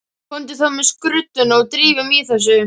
Komdu þá með skrudduna og drífum í þessu.